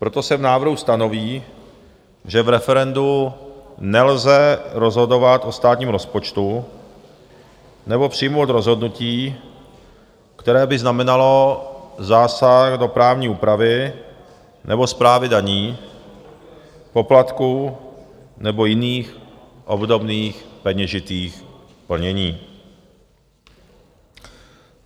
Proto se v návrhu stanoví, že v referendu nelze rozhodovat o státním rozpočtu nebo přijmout rozhodnutí, které by znamenalo zásah do právní úpravy nebo správy daní, poplatků nebo jiných obdobných peněžitých plnění.